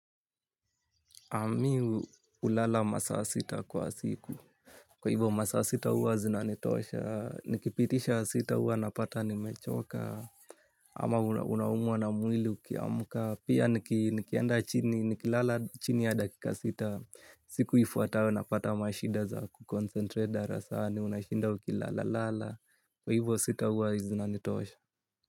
Mi hulala masaa sita kwa siku. Kwa hivyo masaa sita huwa zinanitosha, nikipitisha sita huwa napata nimechoka. Ama unaumwa na mwili ukiamka, pia nikienda chini, nikilala chini ya dakika sita. Siku ifuatayo napata mashida za kuconcentrate darasani, unashinda ukilala lala. Kwa hivyo sita huwa zinanitosha.